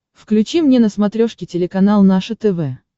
включи мне на смотрешке телеканал наше тв